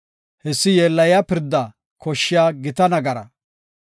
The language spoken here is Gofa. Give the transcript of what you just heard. Hessi yeellayiya nagaras koshshiya gita pirda.